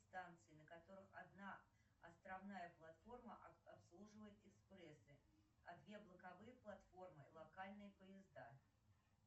станции на которых одна островная платформа обслуживает экспрессы а две боковые платформы локальные поезда